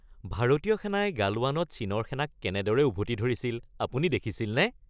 ভাৰতীয় সেনাই গালৱানত চীনৰ সেনাক কেনেদৰে উভতি ধৰিছিল আপুনি দেখিছিলনে?